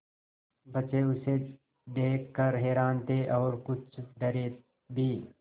बच्चे उसे देख कर हैरान थे और कुछ डरे भी